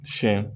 Siyɛn